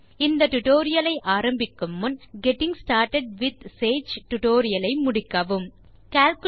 இந்த டியூட்டோரியல் ஐ ஆரம்பிக்கும் முன் கெட்டிங் ஸ்டார்ட்டட் வித் சேஜ் டுடோரியலை முடித்திருக்க பரிந்துரைக்கிறோம்